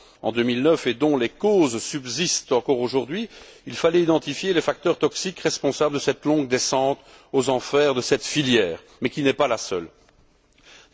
en 2009 et dont les causes subsistent encore aujourd'hui, il fallait identifier les facteurs toxiques responsables de la longue descente aux enfers de cette filière qui n'est d'ailleurs pas la seule dans ce cas.